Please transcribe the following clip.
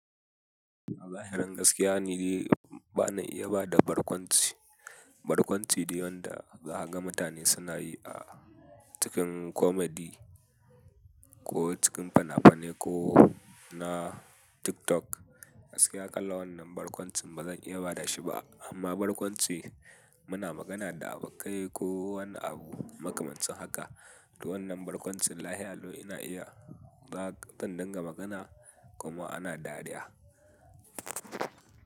A zahirin gaskiya ni ba na iya ba da barkwanci. Barkwanci dai wan da zakaga mutane suna yi a cikin komedi ko cikin fina-finai ko na TikTok. Gaskiya kalan wannan barkwancin ba zan iya bada shi ba amma barkwanci muna magana da abokai ko wani abu makamancin haka. To wannan barkwancin lahialau ina iya ba zan dinga magana kuma ana dariya.